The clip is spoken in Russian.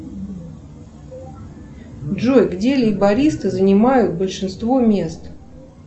джой где лейбористы занимают большинство мест